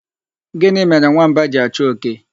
Gịnị mere nwamba ji achọ oke?